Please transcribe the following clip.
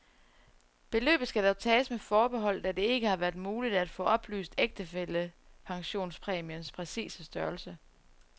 Beløbet skal dog tages med forbehold, da det ikke har været muligt at få oplyst ægtefællepensionspræmiens præcise størrelse.